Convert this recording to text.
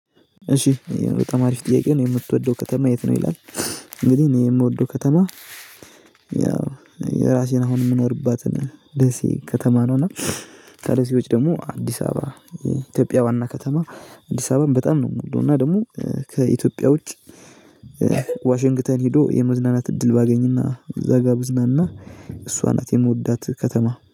እሺ ይሄን በጣም አሪፍ ጥያቄ ነው የምትወደው ከተማ የት ነው ይላል? እንግዲህ እኔ የምወደው ከተማ ያው የራሴን አሁን የምኖርባትን ደሴ ከተማ ነው። እና ታዲያ ሲዎች ደግሞ አዲስ አበባ የኢትዮጵያ ዋና ከተማ አዲስ አበባም በጣም ነው የምውለው እና ደግሞ ከኢትዮጵያ ውጭ ዋሽንግተን ሄዶ የመዝናናት እድል ባገኝና እዛ ጋር ብዝናና። እሷ ናት የምወዳት ከተማ